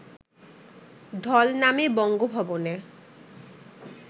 ঢল নামে বঙ্গভবনে